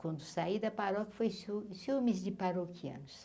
Quando saí da paróquia, foi ciúmes ciúmes de paróquianos.